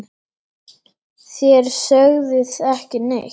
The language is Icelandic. Þér sögðuð ekki neitt!